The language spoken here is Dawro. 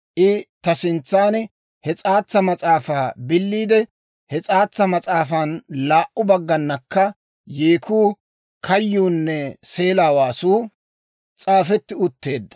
I ta sintsan he s'aatsa mas'aafaa billeedda; he s'aatsa mas'aafan laa"u bagganakka yeekuu, kayyuunne seela waasuu s'aafetti utteedda.